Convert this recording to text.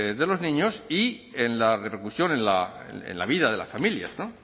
de los niños y en la repercusión en la vida de las familias no